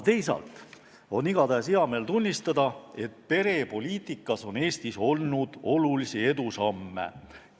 Teisalt on hea meel tunnistada, et perepoliitikas on Eesti teinud olulisi edusamme.